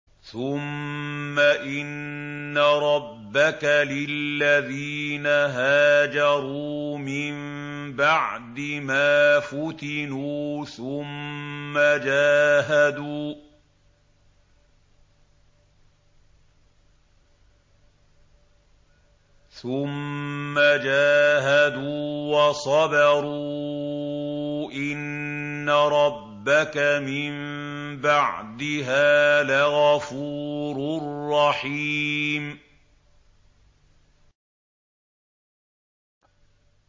ثُمَّ إِنَّ رَبَّكَ لِلَّذِينَ هَاجَرُوا مِن بَعْدِ مَا فُتِنُوا ثُمَّ جَاهَدُوا وَصَبَرُوا إِنَّ رَبَّكَ مِن بَعْدِهَا لَغَفُورٌ رَّحِيمٌ